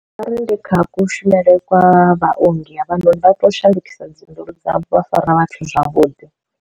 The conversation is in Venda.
Arali ndi kha kushumele kwa vhaongi havhanoni vha tea u shandukisa dziphindulo dzavho vha fara vhathu zwavhuḓi.